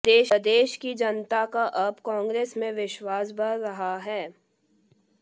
प्रदेश की जनता का अब कांग्रेस में विश्वास बढ़ रहा है